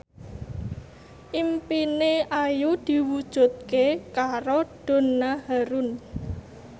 impine Ayu diwujudke karo Donna Harun